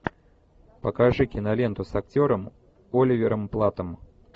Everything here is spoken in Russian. покажи киноленту с актером оливером платтом